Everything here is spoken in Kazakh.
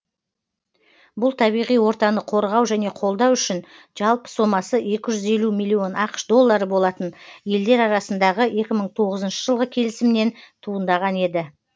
бұл табиғи ортаны қорғау және қолдау үшін жалпы сомасы екі жүз елу миллион ақш доллары болатын елдер арасындағы екі мың тоғызыншы жылғы келісімнен туындаған еді